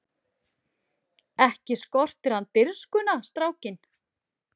Ekki skortir hann dirfskuna strákinn!